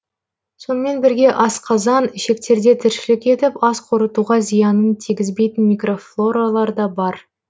сонымен бірге асқазан ішектерде тіршілік етіп ас қорытуға зиянын тигізбейтін мкрофлоралар да бар